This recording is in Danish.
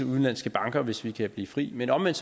udenlandske banker hvis vi kan blive fri men omvendt